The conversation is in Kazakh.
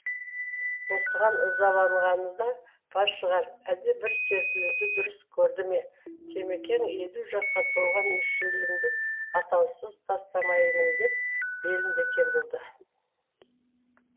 осыған ызаланғаны да бар шығар әлде бір серпілуді дұрыс керді ме темекең елу жасқа толған мүшелімді атаусыз тастамаймын деп белін бекем буды